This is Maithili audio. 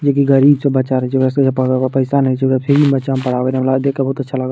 जे गरीब के बच्चा पड़े ला पइसा नहीं छै ओकरा फिरी में बच्चा पढ़ावे ला हमरा देख के बहुत अच्छा लागल।